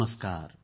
नमस्कार